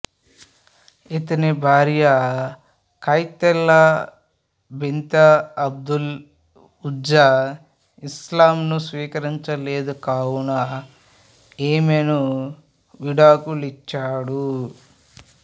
ఇతని భార్య Qutaylah bint Abdul Uzza ఇస్లాంను స్వీకరించలేదు కావున ఆమెను విడాకులిచ్చాడు